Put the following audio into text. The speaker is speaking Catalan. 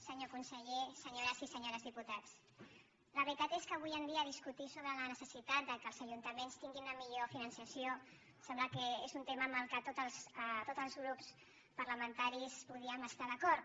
senyor conseller senyores i senyors diputats la veritat és que avui en dia discutir sobre la necessitat que els ajuntaments tinguin un millor finançament em sembla que és un tema amb què tots els grups parlamentaris podríem estar d’acord